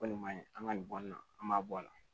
Ko nin ma ɲi an ka nin bɔ in na an b'a bɔ a la